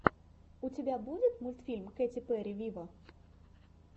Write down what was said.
у тебя будет мультфильм кэти перри виво